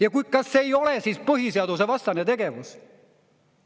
Ja kas see ei ole siis põhiseadusvastane tegevus?